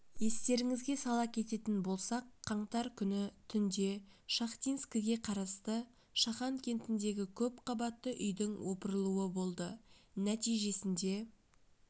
естеріңізге сала кететін болсақ қаңтар күні түнде шахтинскіге қарасты шахан кентіндегі көпқабатты үйдің опырылуы болды нәтижесінде